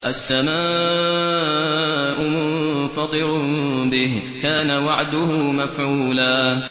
السَّمَاءُ مُنفَطِرٌ بِهِ ۚ كَانَ وَعْدُهُ مَفْعُولًا